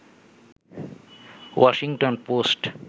Washington post